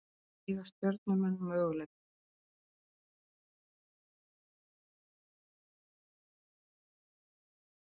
Eiga Stjörnumenn möguleika?